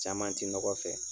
Caman ti nɔgɔ fɛ